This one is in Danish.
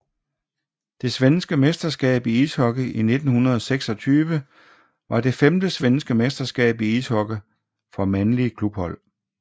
Det svenske mesterskab i ishockey 1926 var det femte svenske mesterskab i ishockey for mandlige klubhold